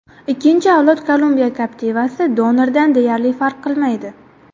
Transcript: Ikkinchi avlod Kolumbiya Captiva’si donordan deyarli farq qilmaydi.